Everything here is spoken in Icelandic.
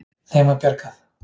Þeim var bjargað.